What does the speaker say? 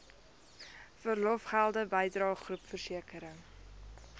verlofgelde bydrae groepversekering